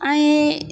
An ye